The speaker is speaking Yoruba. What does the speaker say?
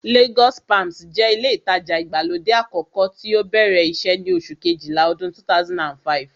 Lagos palms jẹ́ ilé ìtajà ìgbàlódé àkọ́kọ́ tí ó bẹ̀rẹ̀ iṣẹ́ ní oṣù kejìlá ọdún 2005